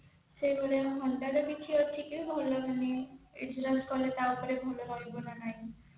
ସେଭଳିଆ honda ର କିଛି ଅଛି କି ଭଲ ମାନେ insurance କଲେ ତା ଉପରେ ଭଲ ରହିବ ନା ନାହିଁ